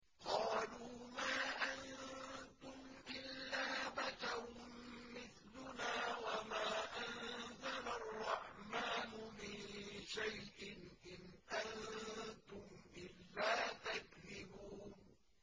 قَالُوا مَا أَنتُمْ إِلَّا بَشَرٌ مِّثْلُنَا وَمَا أَنزَلَ الرَّحْمَٰنُ مِن شَيْءٍ إِنْ أَنتُمْ إِلَّا تَكْذِبُونَ